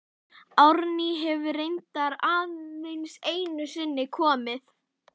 Árný hefur reyndar aðeins einu sinni komið.